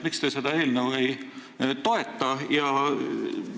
Miks te seda eelnõu ei toeta?